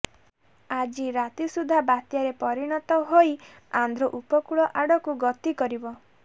ଆଜି ରାତି ସୁଦ୍ଧା ବାତ୍ୟାରେ ପରିଣତ ହୋଇ ଆନ୍ଧ୍ର ଉପକୂଳ ଆଡ଼କୁ ଗତି କରିବ